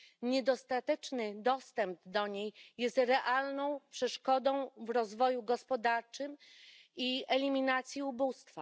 Niedostateczny dostęp do niej jest realną przeszkodą dla rozwoju gospodarczego i eliminacji ubóstwa.